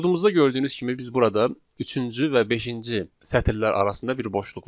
Kodumuzda gördüyünüz kimi biz burada üçüncü və beşinci sətrlər arasında bir boşluq var.